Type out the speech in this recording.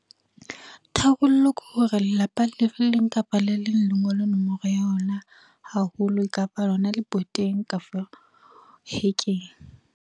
Tharollo ke hore, lelapa le leng kapa le leng le ngole nomoro ya ona haholo kapa lona leboteng ka fo hekeng.